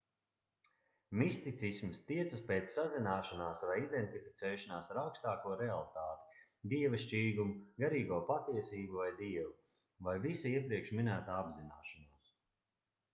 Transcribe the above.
misticisms tiecas pēc sazināšanās vai identificēšanās ar augstāko realitāti dievišķīgumu garīgo patiesību vai dievu vai visa iepriekš minētā apzināšanos